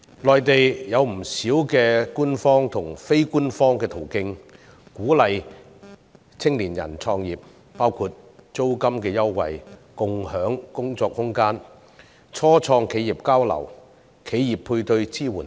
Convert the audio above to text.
內地有不少官方和非官方途徑鼓勵青年人創業，包括租金優惠、共享工作空間、初創企業交流、企業配對支援等。